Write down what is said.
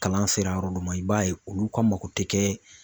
Kalan sera yɔrɔ dɔ ma i b'a ye olu ka mako tɛ kɛ